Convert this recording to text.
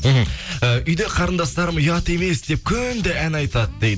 мхм і үйде қарындастарым ұят емес деп күнде ән айтады дейді